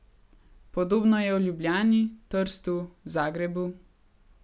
Podobno je v Ljubljani, Trstu, Zagrebu ...